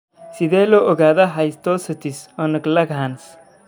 Sidee loo ogaadaa histiocytosis unug Langerhans?